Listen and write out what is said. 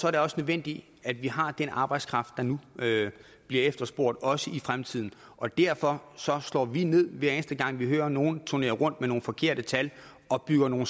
er det også nødvendigt at vi har den arbejdskraft der nu bliver efterspurgt også i fremtiden og derfor slår vi ned på hver eneste gang vi hører nogle turnere rundt med nogen forkerte tal og bygger nogle